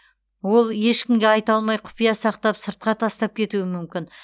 ол ешкімге айта алмай құпия сақтап сыртқа тастап кетуі мүмкін